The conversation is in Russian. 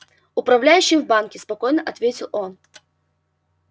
управляющим в банке спокойно ответил он